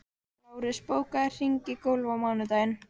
Lárus, bókaðu hring í golf á mánudaginn.